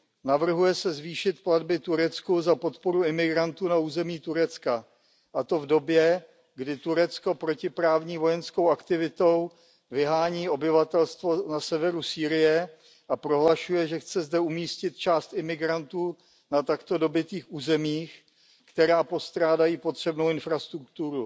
Navrhuje se zvýšit platby Turecku za podporu imigrantů na území Turecka, a to v době, kdy Turecko protiprávní vojenskou aktivitou vyhání obyvatelstvo na severu Sýrie a prohlašuje, že chce zde umístit část imigrantů na takto dobytých územích, která postrádají potřebnou infrastrukturu.